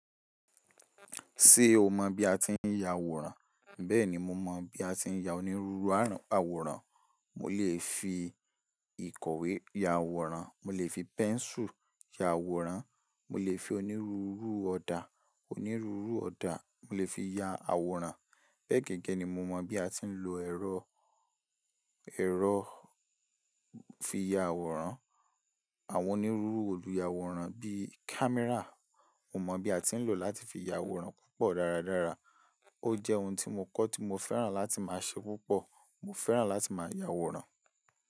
Ṣé o mọ bí a ti ń ya àwòrán? Bẹ́ẹ̀ni mo mọ bí a ti ń ya onírúurú àwòrán. Mo lè fi ìkọ̀wé ya àwòrán, mo lè fi pẹ́nsù ya àwòrán, mo lè fi onírúurú ọ̀dà, onírúurú ọ̀dà mo lè fi ya àwòrán. Bẹ́ẹ̀ gẹ́gẹ́ ni mo mọ bí a ti ń lo ẹ̀rọ, ẹ̀rọ fi ya àwòrán. Àwọn onírúurú ohun ìyàwòrán bí i kámẹ́rà, mo mọ bí a ti ń lò láti fi ya àwòrán púpọ̀ dáradára. Ó jẹ́ ohun tí mo kọ́ tí mo fẹ́ràn láti máa ṣe púpọ̀. Mo fẹ́ràn láti máa ya àwòrán.